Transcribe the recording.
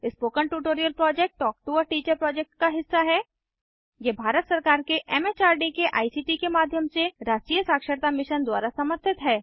spoken tutorial project talk to a teacher project का हिस्सा है यह भारत सरकार के एमएचआरडी के आईसीटी के माध्यम से राष्ट्रीय साक्षरता मिशन द्वारा समर्थित है